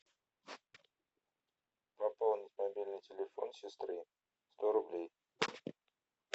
пополнить мобильный телефон сестры сто рублей